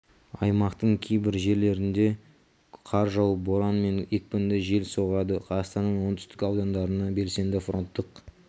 аймақтың кейбір жерлеріне қар жауып боран мен екпінді жел соғады қазақстанның оңтүстік аудандарына белсенді фронттық